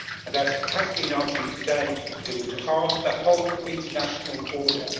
And as has been argued today, it would harm the whole international order.